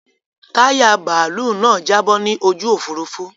Táyà bàálú náà jábọ́ ni ojú Òfurufú.